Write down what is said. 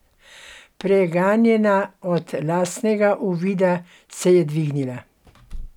Preganjena od lastnega uvida se je dvignila.